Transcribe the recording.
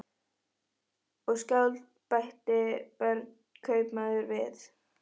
Og skáld, bætti Björn kaupmaður við.